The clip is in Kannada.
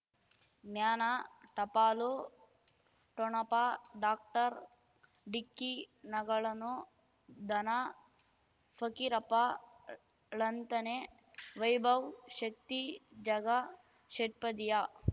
ಜ್ಞಾನ ಟಪಾಲು ಠೊಣಪ ಡಾಕ್ಟರ್ ಢಿಕ್ಕಿ ಣಗಳನು ಧನ ಫಕೀರಪ್ಪ ಳಂತನೆ ವೈಭವ್ ಶಕ್ತಿ ಝಗಾ ಷಟ್ಪದಿಯ